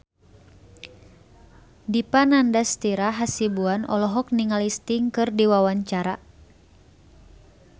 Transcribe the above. Dipa Nandastyra Hasibuan olohok ningali Sting keur diwawancara